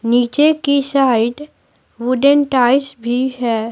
नीचे की side wooden ties भी है।